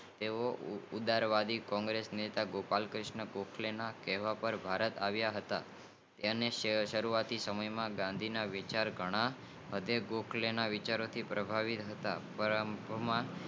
તેઓ ઉદરવાહી કોંગ્રેશનેતા ગોપાલકૃષ્ણ ગોખલે ના પર ભારત આવ્યા હતા તેમને સરુવાત ના સમય માં ગાંધી ના વિચાર ઘણા અઢેગોખલેના વિચારો થી પ્રભાવિત હતા